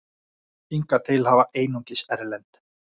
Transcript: Hingað til hafa einungis erlend